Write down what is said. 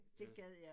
Ja